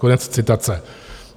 Konec citace.